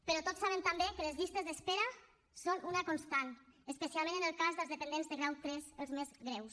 però tots sabem també que les llistes d’espera són una constant especialment en el cas dels dependents de grau iii els més greus